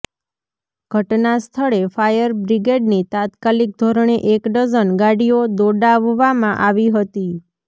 ઘટના સ્થળે ફાયર બ્રિગેડની તાત્કાલીક ધોરણે એક ડઝન ગાડીઓ દોડાવવામાં આવી હતી